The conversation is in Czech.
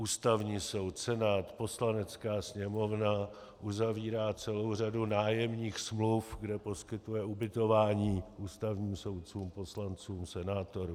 Ústavní soud, Senát, Poslanecká sněmovna uzavírá celou řadu nájemních smluv, kde poskytuje ubytování ústavním soudcům, poslancům, senátorům.